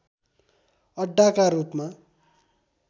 अड्डाका रूपमा